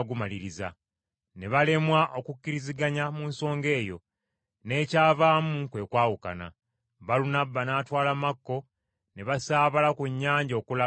Ne balemwa okukkiriziganya mu nsonga eyo, n’ekyavaamu kwe kwawukana. Balunabba n’atwala Makko ne basaabala ku nnyanja okulaga mu Kupulo.